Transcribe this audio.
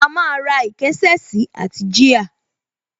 A máa ra ìkésà sí àti jíà